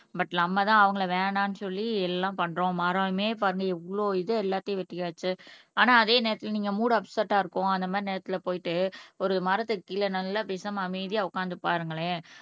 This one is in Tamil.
பட் நம்மதான் அவங்களை வேணாம்னு சொல்லி எல்லாம் பண்றோம். மரமே பாருங்க எவ்ளோ இது எல்லாத்தையும் வெட்டியாச்சு ஆனா அதே நேரத்துல நீங்க மூட் அப்செட்டா இருக்கும் அந்த மாதிரி நேரத்துல போயிட்டு ஒரு மரத்துக்கு கீழே நல்லா பேசாம அமைதியா உட்கார்ந்து பாருங்களேன்